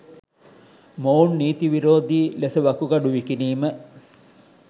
මොවුන් නීති විරෝධී ලෙස වකුගඩු විකිණීම